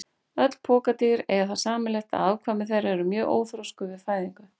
Öll pokadýr eiga það sameiginlegt að afkvæmi þeirra eru mjög óþroskuð við fæðingu.